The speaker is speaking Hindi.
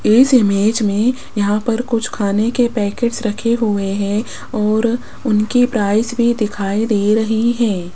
इस इमेज में यहां पर कुछ खाने के पैकेट्स रखे हुए है और उनकी प्राइस भी दिखाई दे रही है।